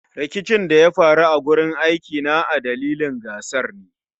Rikicin da ya faru a wurin aikina a dalilin gasar ne